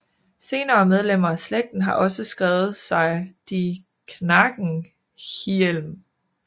Senere medlemmer af slægten har også skrevet sig de Knagenhielm